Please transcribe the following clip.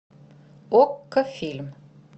окко фильм